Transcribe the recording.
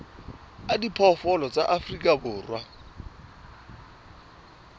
a diphoofolo tsa afrika borwa